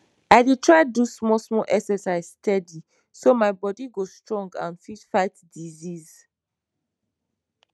i dey try do small small exercise steady so my bodi go strong and fit fight disease